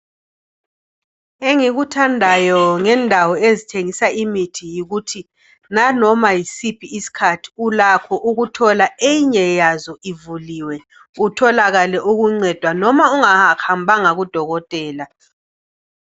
Engikuthandayo ngendawo ezithengisa imithi yikuthi nanoma yisiphi isikhathi ulakho ukuthola eyinye yazo ivuliwe utholakale ukuncedwa noma ungahambanga kudokotela.